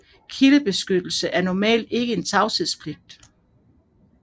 Kildebeskyttelse er normalt ikke en tavshedspligt